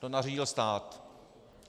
To nařídil stát.